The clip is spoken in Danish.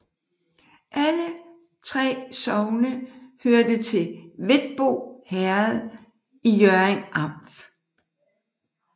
Alle 3 sogne hørte til Hvetbo Herred i Hjørring Amt